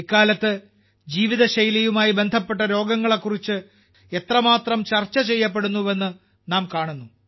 ഇക്കാലത്ത് ജീവിതശൈലിയുമായി ബന്ധപ്പെട്ട രോഗങ്ങളെക്കുറിച്ച് എത്രമാത്രം ചർച്ച ചെയ്യപ്പെടുന്നുവെന്ന് നാം കാണുന്നു